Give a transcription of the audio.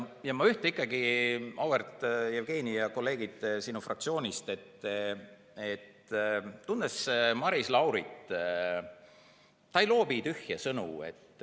Ma ütlen ikkagi, auväärt Jevgeni ja kolleegid sinu fraktsioonist, tundes Maris Laurit: ta ei loobi tühje sõnu.